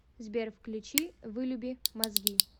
сбер включи вылюби мозги